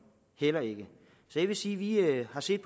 heller ikke jeg vil sige at vi har set